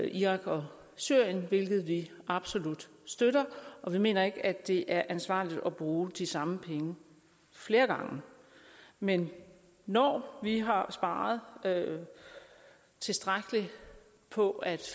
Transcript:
irak og syrien hvilket vi absolut støtter og vi mener ikke at det er ansvarligt at bruge de samme penge flere gange men når vi har sparet tilstrækkeligt på at